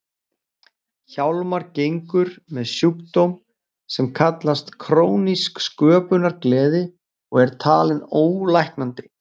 Hjálmar gengur með sjúkdóm sem kallast krónísk sköpunargleði og er talinn ólæknandi.